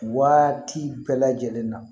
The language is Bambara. Waati bɛɛ lajɛlen na